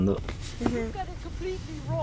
You've got it completely wrong.